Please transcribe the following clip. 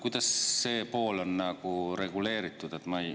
Kuidas see on reguleeritud?